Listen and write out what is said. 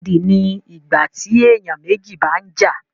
Ìjàkadì ni ìgbà tí èèyàn méjì bá ń jà